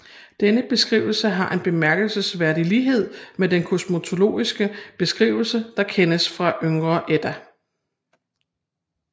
Denne beskrivelse har en bemærkelsesværdig lighed med den kosmologiske beskrivelse der kendes fra Yngre Edda